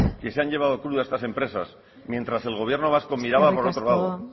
que se han llevado crudo estas empresas mientras el gobierno vasco miraba para otro lado